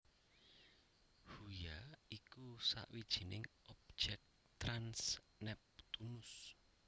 Huya iku sawijining objèk trans Neptunus